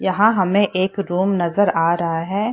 यहाँ हमें एक रूम नजर आ रहा है।